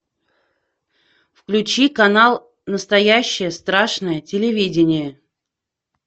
включи канал настоящее страшное телевидение